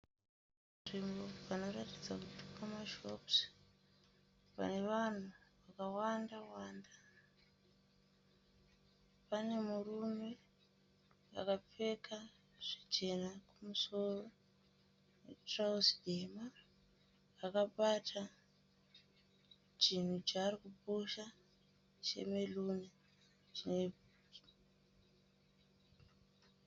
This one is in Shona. Nzvimbo panoratidza kuti pamashopusi pane vanhu vakawanda wanda. Pane murume akapfeka zvichena kumusoro netirauzi dema akabata chinhu chaari kupusha chemeruni.